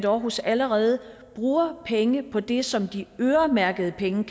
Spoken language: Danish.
aarhus allerede bruger penge på det som de øremærkede penge